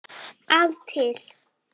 að til.